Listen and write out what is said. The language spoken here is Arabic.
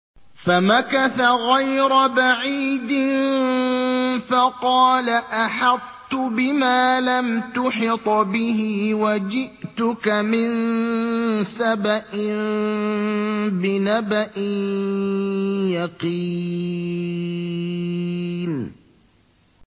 فَمَكَثَ غَيْرَ بَعِيدٍ فَقَالَ أَحَطتُ بِمَا لَمْ تُحِطْ بِهِ وَجِئْتُكَ مِن سَبَإٍ بِنَبَإٍ يَقِينٍ